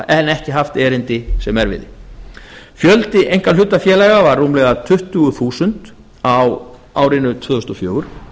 en ekki haft erindi sem erfiði fjöldi einkahlutafélög var rúmlega tuttugu þúsund á árinu tvö þúsund og fjögur